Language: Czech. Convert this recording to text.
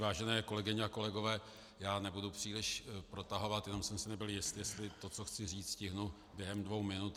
Vážené kolegyně a kolegové, já nebudu příliš protahovat, jenom jsem si nebyl jist, jestli to, co chci říct, stihnu během dvou minut.